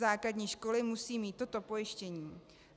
Základní školy musí mít toto pojištění.